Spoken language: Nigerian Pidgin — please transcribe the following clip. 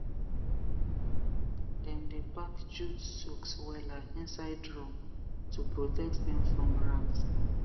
dem dey pack jute sacks wella inside drum to protect dem from rat